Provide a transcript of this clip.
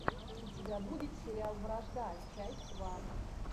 у тебя будет сериал вражда часть два